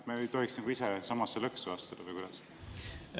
Me ei tohiks ise samasse lõksu astuda, või kuidas?